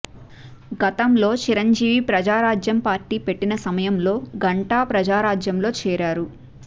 గతంలో చిరంజీవి ప్రజారాజ్యం పార్టీ పెట్టిన సమయంలో గంటా ప్రజారాజ్యంలో చేరారు